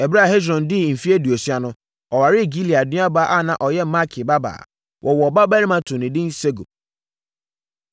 Ɛberɛ a Hesron dii mfeɛ aduosia no, ɔwaree Gilead nuabaa a na ɔyɛ Makir babaa. Wɔwoo ɔbabarima too no edin Segub.